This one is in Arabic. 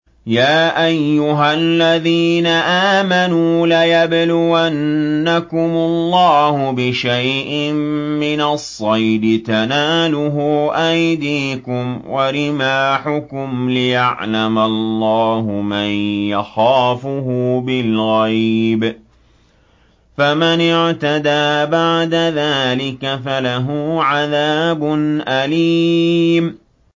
يَا أَيُّهَا الَّذِينَ آمَنُوا لَيَبْلُوَنَّكُمُ اللَّهُ بِشَيْءٍ مِّنَ الصَّيْدِ تَنَالُهُ أَيْدِيكُمْ وَرِمَاحُكُمْ لِيَعْلَمَ اللَّهُ مَن يَخَافُهُ بِالْغَيْبِ ۚ فَمَنِ اعْتَدَىٰ بَعْدَ ذَٰلِكَ فَلَهُ عَذَابٌ أَلِيمٌ